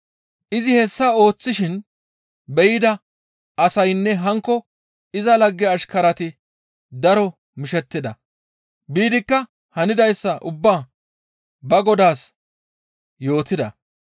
Izi hessa ooththishin be7ida asaynne hankko iza lagge ashkarati daro mishettida. Biidikka hanidayssa ubbaa ba godaas yootida.